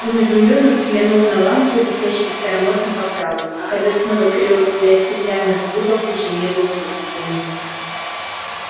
он изумлённо взглянул на лампы висящие в старомодных оправах а когда снова перевёл взгляд стеклянный куб уже не был пустым